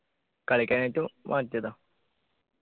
കളിക്കാനായിട്ട് മാറ്റിയതാ